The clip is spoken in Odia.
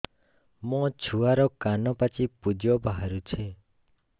ମୋ ଛୁଆର କାନ ପାଚି ପୁଜ ବାହାରୁଛି